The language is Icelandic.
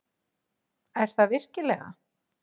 Er það virkilega?